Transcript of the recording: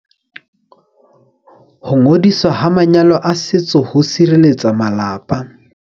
Ho ngodiswa ha manyalo a setso ho sirelletsa malapa.